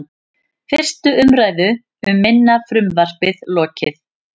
Fyrstu umræðu um minna frumvarpið lokið